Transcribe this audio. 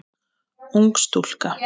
Ung stúlka.